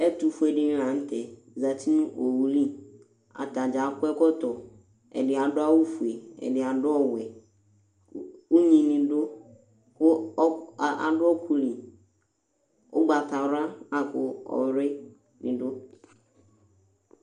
ƐTU FUÉLÉ NI LATƐ ZƐTI NU OWULI ATANI AKƆ ƐKƆTƆ ƐDI ADU AWU FUÉ ƐDI ADU ƆWƐ UNYINI DU KU ADU ƆKULI UGBATA WLA LAKU ƆLUƐ NI DU